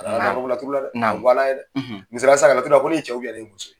A y'a laturu la dɛ a ka g' Ala ye dɛ misaliyala sisan ka laturu da ko ne ye cɛ de ne ye muso de ye?